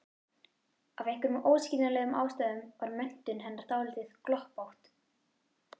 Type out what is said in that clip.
Af einhverjum óskiljanlegum ástæðum var menntun hennar dálítið gloppótt.